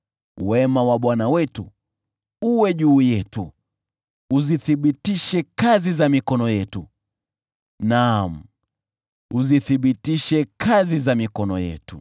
Wema wa Bwana Mungu wetu uwe juu yetu; uzithibitishe kazi za mikono yetu: naam, uzithibitishe kazi za mikono yetu.